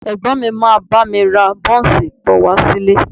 Ẹ̀gbọ́n mi máa bá mi ra bọ́ńsì bọ̀ wá sílé